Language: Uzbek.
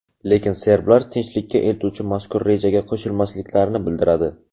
Lekin serblar tinchlikka eltuvchi mazkur rejaga qo‘shilmasliklarini bildiradi.